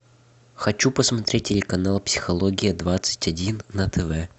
хочу посмотреть телеканал психология двадцать один на тв